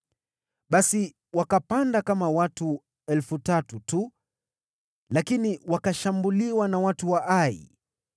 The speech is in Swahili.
Basi wakapanda kama watu elfu tatu tu, lakini wakashambuliwa na watu wa Ai,